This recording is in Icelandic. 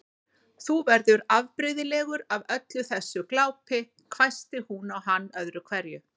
Þú verður afbrigðilegur af öllu þessu glápi hvæsti hún á hann öðru hverju.